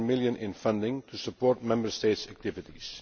3.7 million in funding to support Member States' activities.